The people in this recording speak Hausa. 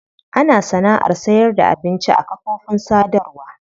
Ana sana'ar sayarda abinci a kafofin sadarwa.